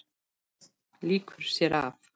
Lýkur sér af.